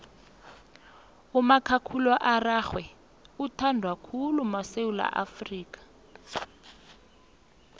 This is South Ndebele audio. umakhakhulararhwe uthandwa khulu madika esewula afrika